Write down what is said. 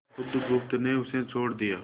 बुधगुप्त ने उसे छोड़ दिया